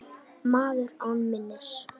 Maður án minnis.